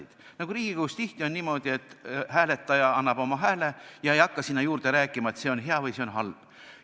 Oli niimoodi, nagu Riigikoguski tihti on, et hääletaja annab oma hääle ega hakka sinna juurde rääkima, et see asi on hea ja see on halb.